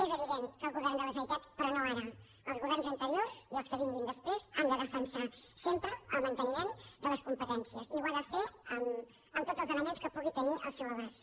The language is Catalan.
és evident que el govern de la generalitat però no ara els governs anteriors i els que vinguin després ha de defensar sempre el manteniment de les competències i ho ha de fer amb tots els elements que pugui tenir al seu abast